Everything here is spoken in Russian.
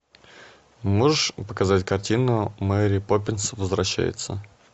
можешь показать картину мэри поппинс возвращается